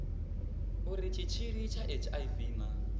uri tshitshili tsha hiv na